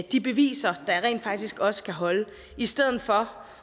de beviser der rent faktisk også kan holde i stedet for